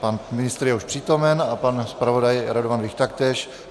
Pan ministr je už přítomen a pan zpravodaj Radovan Vích taktéž.